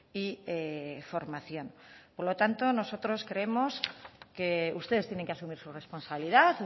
y formación por lo tanto nosotros creemos que ustedes tienen que asumir su responsabilidad